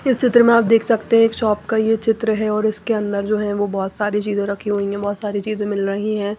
इस चित्र में आप देख सकते हैं एक शॉप का ये चित्र है और इसके अंदर जो है वो बहुत सारी चीजें रखी हुई हैं बहुत सारी चीजें मिल रही हैं।